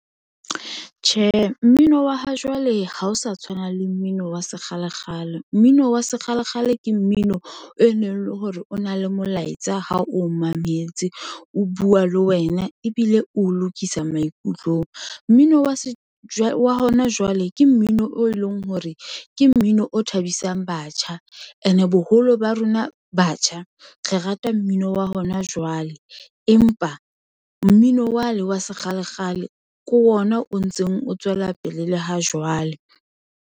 Tjhe, mmino wa ha jwale ha o sa tshwana le mmino wa sekgalekgale, mmino wa sekgalekgale ke mmino e neng le hore o na le molaetsa ha o mametse, o bua le wena ebile o lokisa maikutlong. Mmino wa hona jwale ke mmino o eleng hore ke mmino o thabisang batjha and boholo ba rona batjha re rata mmino wa hona jwale, empa mmino wane wa sekgalekgale ke ona o ntseng o tswela pele le ha jwale